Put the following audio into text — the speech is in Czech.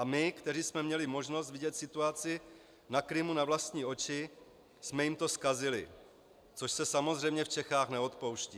A my, kteří jsme měli možnost vidět situaci na Krymu na vlastní oči, jsme jim to zkazili, což se samozřejmě v Čechách neodpouští.